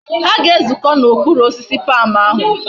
Ha ga ezuko na okpuru osisi palm ahu